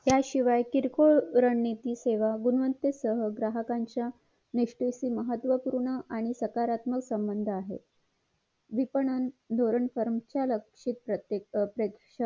त्याशिवाय किरकोळ रणनीती सेवा गुणवत्ता सह ग्राहकाच्या निष्ठेशी महत्वपूर्ण आणि सकारात्मक संबध आहेत विपणन धवरानं असे प्रत्येक प्रेषक